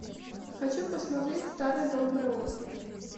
хочу посмотреть старая добрая оргия